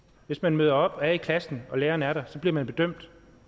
hvis man møder op og er i klassen og læreren er der så bliver man bedømt